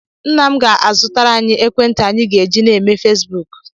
Nna m ga-azụtara anyị ekwentị anyị ga-eji na-eme Fesbuk.